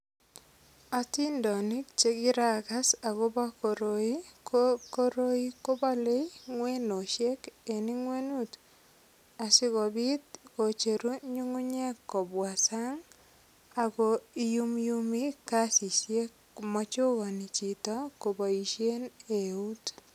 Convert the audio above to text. Atindonik che kiragas agobo koroi ko koroi kobole ngwenosiek eng ingwenut asigopit kocheru nyungunyek kobwa sang ago iyumyumi kasisiek komachokani chito koboisien eut.